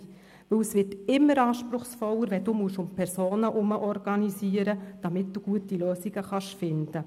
Denn es wird immer anspruchsvoller, wenn um Personen herum organisiert werden muss, um gute Lösungen zu finden.